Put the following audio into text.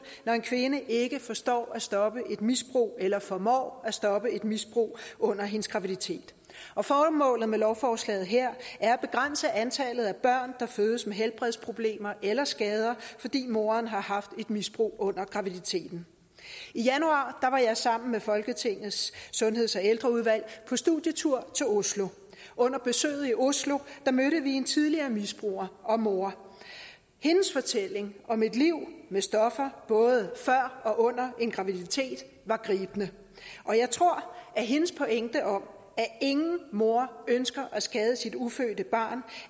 når en kvinde ikke forstår at stoppe et misbrug eller formår at stoppe et misbrug under hendes graviditet formålet med lovforslaget her er at begrænse antallet af børn der fødes med helbredsproblemer eller skader fordi moren har haft et misbrug under graviditeten i januar var jeg sammen med folketingets sundheds og ældreudvalg på studietur til oslo under besøget i oslo mødte vi en tidligere misbruger og mor hendes fortælling om et liv med stoffer både før og under en graviditet var gribende og jeg tror at hendes pointe om at ingen mor ønsker at skade sit ufødte barn